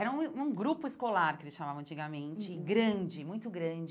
Era um um grupo escolar, que eles chamavam antigamente, grande, muito grande.